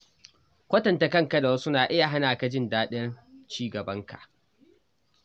Kwatanta kanka da wasu na iya hana ka jin daɗin ci gaban ka.